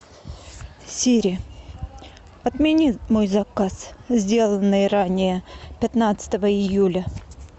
сири отмени мой заказ сделанный ранее пятнадцатого июля